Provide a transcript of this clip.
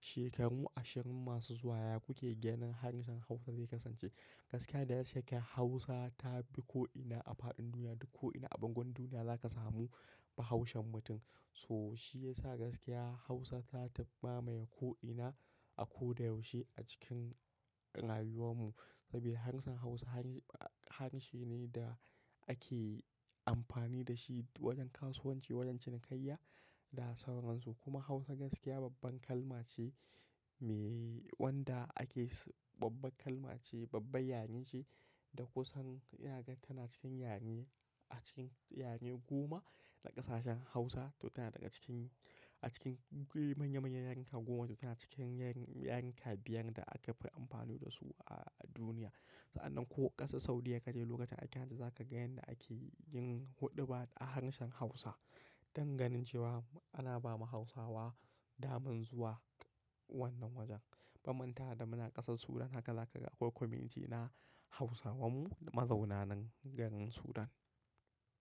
Shekaru ashirin masu zuwa ya ku ke ganin harshen Hausa zai kasance? Gaskiya da ya ke Hausa ta bi ko'ina a faɗin duniya. Duk ko'ina a bangon duniya za ka samu Bahaushen mutum. So shi ya sa gaskiya Hausa ta ma maye ko'ina a ko da yaushe a cikin rayuwar mu. Saboda harshen Hausa harshe ne da ake amfani da shi wajen kasuwanci, wajen cinikayya da sauransu. Kuma Hausa gaskiya babban kalma ce me wanda ake, babban kalma ce, babba yare ce da kusan ina gan tana cikin yare, a cikin yare goma na ƙasashen Hausa. To tana daga cikin, a cikin manya manyan yarika goma. To tana cikin yarika biyar da aka fi amfani da su a duniya. Sa'annan ko ƙasar Saudiya ka je lokacin aikin hajji za ka ga yanda ake yin huɗuba a harshen Hausa. Don ganin cewa ana ba ma Hausawa daman zuwa wannan wajen. Baman tare da muna ƙasar Sudan haka za ka ga akwai kwamiti na Hausawan mu mazauna nan garin Sudan.